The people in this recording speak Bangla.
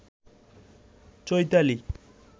চৈতালী